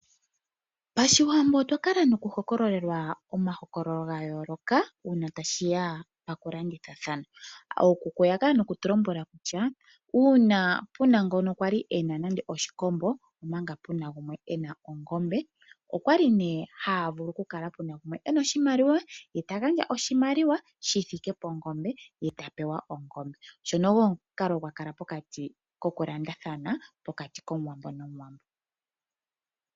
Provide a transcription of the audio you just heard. Pashiwambo otwa kala nokuhokololelwa omahokololo ga yooloka, uuna tashi ya pokulandithathana. Ookuku oya kala nokutu lombwela kutya uuna pu na ngono kwa li e na nando oshikombo, omanga pu na gumwe e na ongombe, okwali nee haa vulu ku kala pu na gumwe e na oshimaliwa ye ta gandja oshimaliwa shi thike pongombe, ye ta pewa ongombe. Ngono ogo omukalo gwa kala pokati kokulandathana pokati kOmuwambo nOmuwambo.